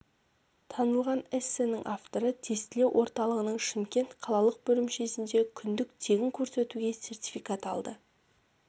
танылған эссенің авторы тестілеу орталығының шымкент қалалық бөлімшесінде күндік тегін курс өтуге сертификат алды